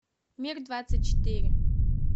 мир двадцать четыре